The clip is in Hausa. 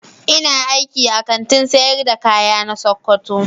Ina aiki a Kantin sayar da kaya na sokoto.